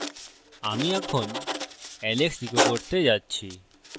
আমি এখন alex echo করতে যাচ্ছি